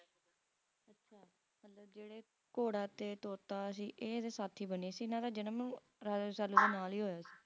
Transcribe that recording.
ਜਿਹੜੇ ਘੋੜਾ ਤੇ ਤੋਤਾ ਸੀ ਇਹ ਇਹਦੇ ਸਾਥੀ ਬਣੇ ਸੀ ਇਹਨਾਂ ਦਾ ਜਨਮ Raja Rasalu ਦੇ ਨਾਲ ਹੀ ਹੋਇਆ ਸੀ